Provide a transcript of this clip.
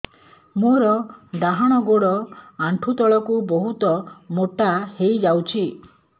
ମୋର ଡାହାଣ ଗୋଡ଼ ଆଣ୍ଠୁ ତଳକୁ ବହୁତ ମୋଟା ହେଇଯାଉଛି